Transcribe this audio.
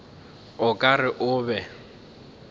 o ka re o be